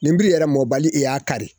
Ninbri yɛrɛ mɔbali i y'a kari